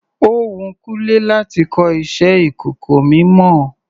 Ó wun Kúnlé láti kọ iṣẹ ìkọ̀kọ̀ mímọ.